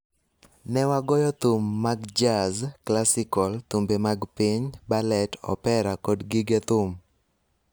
Ne wagoyo thum mag jazz, klasikol, thumbe mag piny, balet, opera kod gige thum.